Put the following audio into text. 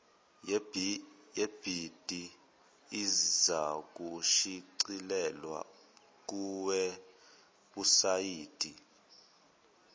yebhidi izakushicilelwa kuwebhusayidi